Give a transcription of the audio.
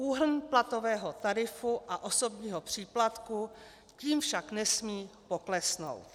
Úhrn platového tarifu a osobního příplatku tím však nesmí poklesnout.